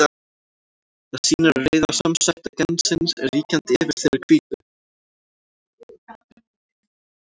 Það sýnir að rauða samsæta gensins er ríkjandi yfir þeirri hvítu.